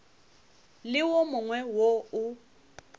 le wo mongwe wo o